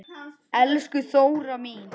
Elsku Þóra mín.